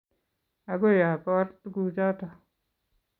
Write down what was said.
Agoi abor tuguchoto